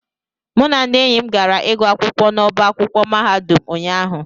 mụ na ndị enyi m gara ịgụ akwụkwọ n'ọba akwụkwọ mahadum ụnyahụ